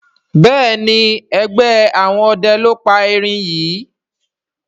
Béèni ègbé àwọn ọdẹ ló pá èrin yí.